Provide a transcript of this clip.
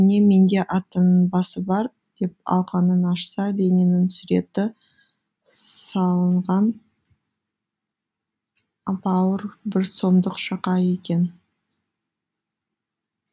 міне менде атыңның басы бар деп алақанын ашса лениннің суреті салынған ап ауыр бір сомдық шақа екен